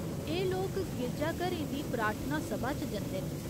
एह् लोक गिरजाघरें दी ''प्रार्थना सभा'' च जंदे न।